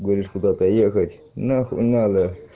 говоришь куда-то ехать на хуй надо